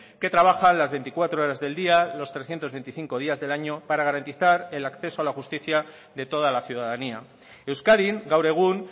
que trabajan las veinticuatro horas del día los trescientos veinticinco días del año para garantizar el acceso a la justicia de toda la ciudadanía euskadin gaur egun